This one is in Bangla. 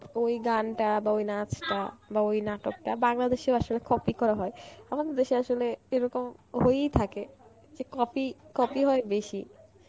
ওই গানটা বা ওই নাচটা বা ওই নাটকটা বাংলাদেশেও আসলে copy করা হয়. আমাদের দেশে আসলে এরকম হয়েই থাকে যে copy, copy হয় বেশি